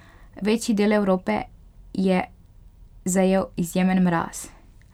Večji del Evrope je zajel izjemen mraz.